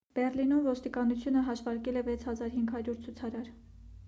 բեռլինում ոստիկանությունը հաշվարկել է 6,500 ցուցարար